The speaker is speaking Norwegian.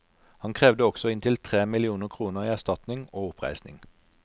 Han krevde også inntil tre millioner kroner i erstatning og oppreisning.